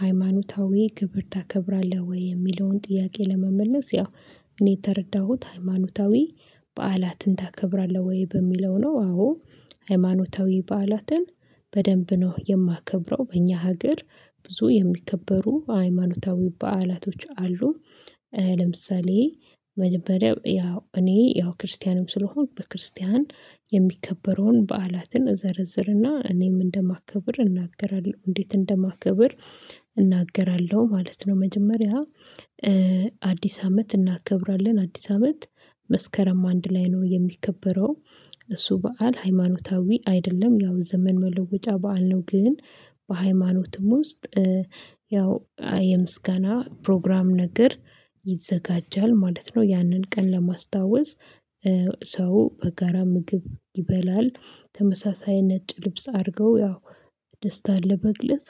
ሃይማኖታዊ ክብር ታከብራለህ ወይ የሚለውን ጥያቄ? ለመመለስ ያው እኔ የተረዳሁት ሃይማኖታዊ በዓላትን ታከብራለህ ወይ በሚለው ነው። አዎ ሃይማኖታዊ በዓላትን በደንብ ነው የማከብረው። በእኛ ሀገር ብዙ የሚከበሩ ሃይማኖታዊ በዓላቶች አሉ። ለምሳሌ መጀመሪያ ያው እኔ ያው ክርስቲያንም ስለሆንኩ በክርስቲያን የሚከበረውን በዓላትን እዘርዝርና እኔም እንደማከብር እናገራለሁ እንዴት እንደማከብር እናገራለሁ ማለት ነው። መጀመሪያ አዲስ አመት እናከብራለን አዲስ አመት መስከረም አንድ ላይ ነው የሚከበረው። እሱ በዓል ሃይማኖታዊ አይደለም ያው ዘመን መለወጫ በዓል ነው። ግን በሃይማኖትም ውስጥ ያው የምስጋና ፕሮግራም ነገር ይዘጋጃል ማለት ነው። ያንን ቀን ለማስታወስ ሰው በጋራ ምግብ ይበላል ተመሳሳይ ነጭ ልብስ አድርገው ያው ደስታን ለመግለጽ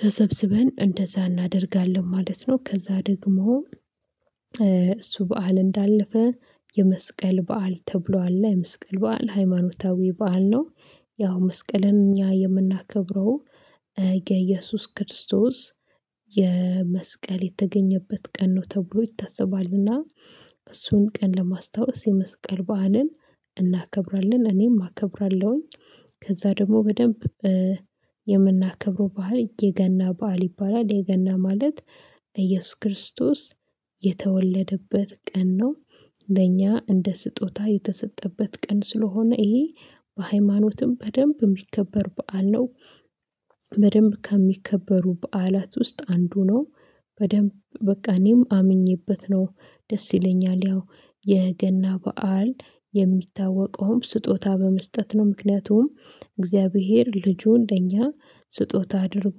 ተሰብስበን እንደዛ እናደርጋለን ማለት ነው። ከዛ ደግሞ እሱ በዓል እንዳለፈ የመስቀል በዓል ተብሎ አለ የመስቀል በዓል ሃይማኖታዊ በዓል ነው። ያው መስቀልን እኛ የምናከብረው የኢየሱስ ክርስቶስ የመስቀል የተገኘበት ቀን ነው ተብሎ ይታሰባልና። እሱን ቀን ለማስታወስ የመስቀል ባዓልን እናከብራለን እኔም አከብራለሁኝ። ከዛ ደግሞ በደንብ የምናከብረው በዓል የገና በዓል ይባላል። የገና ማለት ኢየሱስ ክርስቶስ የተወለደበት ቀን ነው። ለእኛ እንደ ስጦታ የተሰጠበት ቀን ስለሆነ ይሄ በሃይማኖትም በደንብ የሚከበር በዓል ነው። በደንብ ከሚከበሩ በዓላት ውስጥ አንዱ ነው። በደንብ በቃ እኔም አምኜበት ነው ደስ ይለኛል ያው የገና በዓል የሚታወቀውም ስጦታ በመስጠት ነው። ምክንያቱም እግዚአብሔር ልጁ ለኛ ስጦታ አድርጎ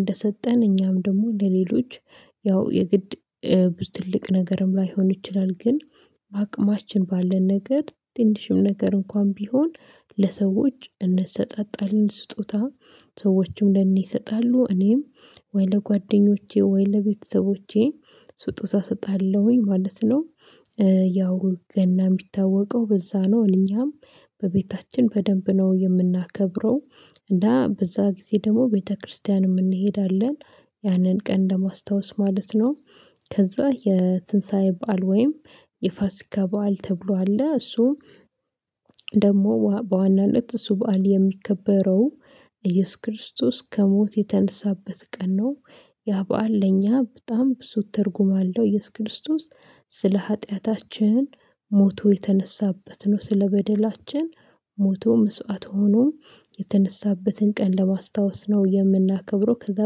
እንደሰጠን እኛም ደግሞ ለሌሎች ያው የግድ ብዙ ትልቅ ነገርም ላይሆን ይችላል። ግን በአቅማችን ባለን ነገር ትንሽም ነገር እንኳን ቢሆን ለሰዎች እንሰጣጣለን። ስጦታ ሰዎችም ለኔ ይሰጣሉ እኔም ወይ ለጓደኞቼ ወይ ለቤተሰቦቼ ስጦታ እሰጣለሁኝ ማለት ነው። ያው ገና የሚታወቀው በዛ ነው። እኛም በቤታችን በደንብ ነው የምናከብረው። እና በዛ ጊዜ ደግሞ ቤተክርስቲያንም እንሄዳለን ያንን ቀን ለማስታወስ ማለት ነው። ከዛ የትንሳኤ በዓል ወይም የፋሲካ በዓል ተብሎ አለ። እሱ ደግሞ በዋናነት እሱ በዓል የሚከበረው ኢየሱስ ክርስቶስ ከሞት የተነሳበት ቀን ነው። ያ በዓል ለኛ በጣም ብዙ ትርጉም አለው። ኢየሱስ ክርስቶስ ስለ ኃጢያታችን ሞቶ የተነሳበት ነው። ስለበደላችን ሞቶ መስዋዕት ሆኖም የተነሳበትን ቀን ለማስታወስ ነው የምናከብረው። ከዛ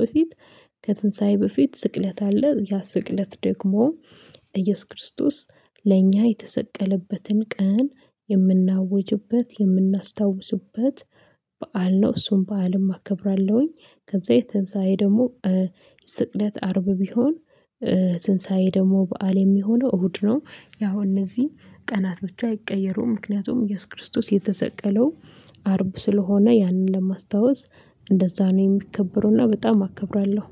በፊት ከትንሳኤ በፊት ስቅለት አለ ያ ስቅለት ደግሞ ኢየሱስ ክርስቶስ ለእኛ የተሰቀለበትን ቀን የምናውጅበት የምናስታውስበት በዓል ነው። እሱን በዓልም አከብራለሁኝ። ከዛ የትንሳኤ ደግሞ ስቅለት አርብ ቢሆን ትንሳኤ ደግሞ በዓል የሚሆነው እሁድ ነው። ያው እነዚህ ቀናት ብቻ አይቀየሩም። ምክንያቱም ኢየሱስ ክርስቶስ የተሰቀለው አርብ ስለሆነ ያንን ለማስታወስ እንደዛ ነው የሚከበሩና በጣም አከብራለሁ።